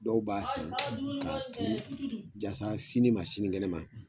Dɔw b'a san k'a tuuru yasa sini ma sinikɛnɛ ma